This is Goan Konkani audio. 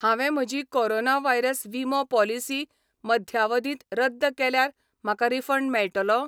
हांवें म्हजी कोरोना व्हायरस विमो पॉलिसी मध्यावधींत रद्द केल्यार म्हाका रिफंड मेळटलो?